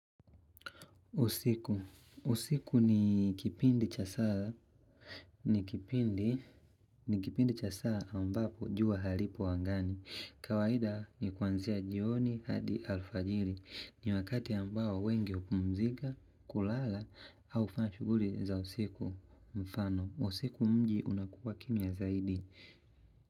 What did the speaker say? Usiku ni kipindi cha saa ambapo jua haripo angani. Kawaida ni kuanzia jioni hadi alfajiri. Ni wakati ambao wengi hupumzika, kulala, au kufanya shughuli za usiku mfano. Usiku mji unakuwa kimya zaidi.